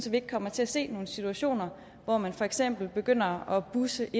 vi ikke kommer til at se nogle situationer hvor man for eksempel begynder at busse